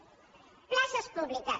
bé places públiques